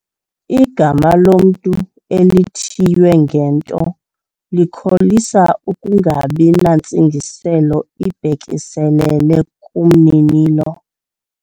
Igama lomntu elithiywe ngento likholisa ukungabi nantsingiselo ibhekiselele kumninilo.